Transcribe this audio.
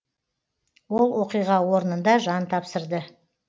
ол оқиға орнында жан тапсырды